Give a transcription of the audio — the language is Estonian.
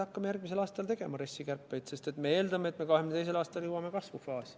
Hakkame järgmisel aastal tegema RES-i kärpeid, sest me eeldame, et 2022. aastal jõuame kasvufaasi.